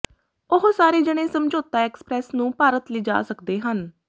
ਉਹ ਸਾਰੇ ਜਣੇ ਸਮਝੌਤਾ ਐਕਸਪ੍ਰੈਸ ਨੂੰ ਭਾਰਤ ਲਿਜਾ ਸਕਦੇ ਹਨ